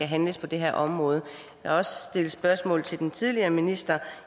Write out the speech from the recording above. handle på det her område jeg har også stillet spørgsmål til den tidligere minister